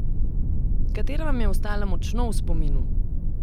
Katera vam je ostala močno v spominu?